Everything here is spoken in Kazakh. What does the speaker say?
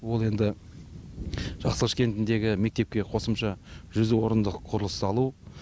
ол енді жақсықылыш кентіндегі мектепке қосымша жүз орындық құрылыс салу